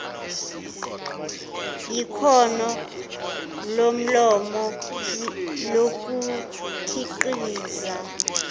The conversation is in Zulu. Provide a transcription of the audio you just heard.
yikhono lomlomo lokukhiqiza